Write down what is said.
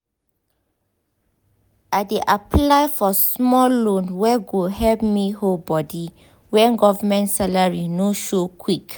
i dey apply for small loan wey go help me hold body when government salary no show quick.